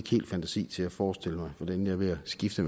helt fantasi til at forestille mig hvordan jeg ved at skifte